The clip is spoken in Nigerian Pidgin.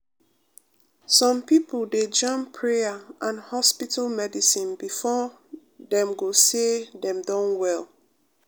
some pipo dey jam prayer and hospital medicine before dem go say dem don well.